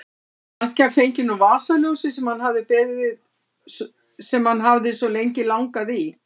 Kannski hann fengi nú vasaljósið sem hann hafði svo lengi langað í.